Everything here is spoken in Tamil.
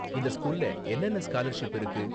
இந்த ஸ்கூல்ல என்னென்ன ஸ்காலர்ஷிப்லாம் இருக்கு?